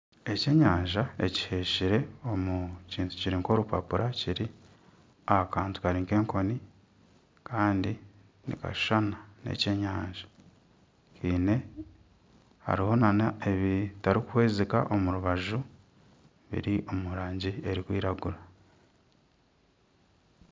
Ekyenyanja ekihetsire omu kintu kiri nk'orupapura kiri aha kantu kari nk'enkoni kandi nikashushana n'ekyenyanja hariho nana ebitarikuhwezika omu rubaju biri omu rangi erikwiragura